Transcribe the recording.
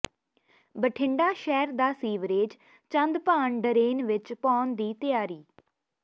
ਬਠਿੰਡਾ ਸ਼ਹਿਰ ਦਾ sewerage Chandbhan drain ਵਿੱਚ ਪਾਉਣ ਦੀ ਤਿਆਰੀ